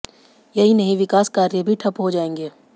यही नहीं विकास कार्य भी ठप्प हो जाएंगे